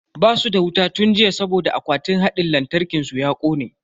Basu da wuta tun jiya saboda akwatin hadin lantarkin su ya kone.